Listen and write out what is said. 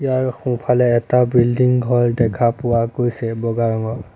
ইয়াৰ সোঁফালে এটা বিল্ডিং ঘৰ দেখা পোৱা গৈছে বগা ৰঙৰ।